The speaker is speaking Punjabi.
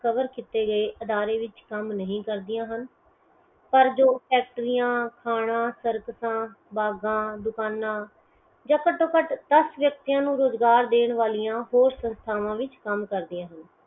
cover ਕੀਤੇ ਗਏ ਅਦਾਰੇ ਵਿੱਚ ਕੰਮ ਨਹੀ ਕਰਦਿਆਂ ਹਨ ਪਰ ਜੋ act ਦੀਆਂ ਖਾਣਾ ਬਾਗਾਂ ਦੁਕਾਨਾਂ ਜਾ ਘੱਟੋ ਘੱਟ ਦਸ ਵਿਅਕਤੀਆਂ ਨੂੰ ਰੋਜ਼ਗਾਰ ਦੇਣ ਵਾਲਿਆ ਹੋਰ ਸੰਸਥਾਵਾਂ ਵਿੱਚ ਕੰਮ ਕਰਦੀਆਂ ਹਨ